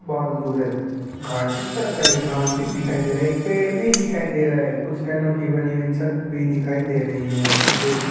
भालू राह घाट इस तरह का एक नाम भी दिखाई दे रहा है एक पेड़ भी दिखाई दे रहा है कुछ टनों की बनी हुई छत भी दिखाई दे रही है कुछ व्यक्ति --